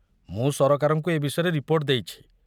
ମୁଁ ସରକାରଙ୍କୁ ଏ ବିଷୟରେ ରିପୋର୍ଟ ଦେଇଛି।